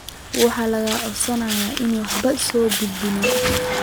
Waxaa laga codsaday inay warbixin soo gudbiyaan.